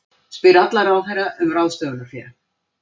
Spyr alla ráðherra um ráðstöfunarfé